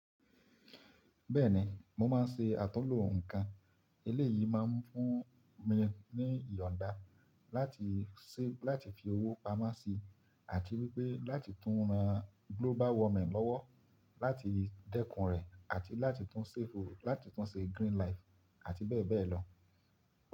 Bẹ́ẹ̀ni, mo máa ń ṣe àtunlo ǹkan. Elé yìí máa ń fún mi ní ìyọ̀nda láti ṣẹ́ láti fi owó pamọ́ sí, àti wípé láti tún ran global warming lọ́wọ́ láti dẹ́kun rẹ̀, àti láti tún ṣefu láti tún ṣe green life àti bẹ́ẹ̀ bẹ́ẹ̀ lọ.